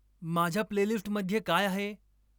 माझ्या प्लेलिस्टमध्ये काय आहे?